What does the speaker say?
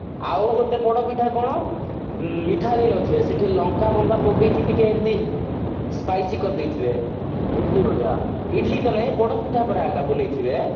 ଆଉ ଗୋଟେ ପୋଡପିଠା କଣ ପିଠା ବି ନଥିବ ସେଠି ଲଙ୍କା ଫଙ୍କା ପକେଇକି ଟିକେ ଏମତି spice କରିଦେଇଥିବେ ଇଡିଲି ଭଳିଆ ଇଡିଲି ତ ନାଇଁ ପୋଡପିଠା ପର ଏଟା ବନେଇଥିବେ